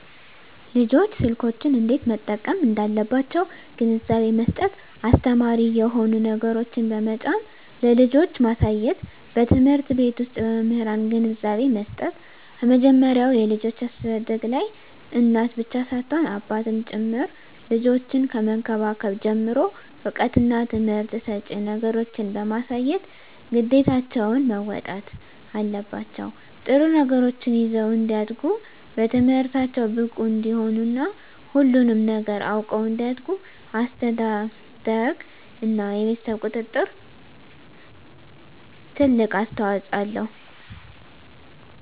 ልጆች ስልኮችን እንዴት መጠቀም እንዳለባቸዉ ግንዛቤ መስጠት አስተማሪ የሆኑ ነገሮችን በመጫን ለልጆች ማሳየትበትምህርት ቤት ዉስጥ በመምህራን ግንዛቤ መስጠት ከመጀመሪያዉ የልጆች አስተዳደግላይ እናት ብቻ ሳትሆን አባትም ጭምር ልጆችን ከመንከባከብ ጀምሮ እዉቀትና ትምህርት ሰጭ ነገሮችን በማሳየት ግዴታቸዉን መወጣት አለባቸዉ ጥሩ ነገሮችን ይዘዉ እንዲያድጉ በትምህርታቸዉ ብቁ እንዲሆኑ እና ሁሉንም ነገር አዉቀዉ እንዲያድጉ አስተዳደርግ እና የቤተሰብ ቁጥጥር ትልቅ አስተዋፅኦ አለዉ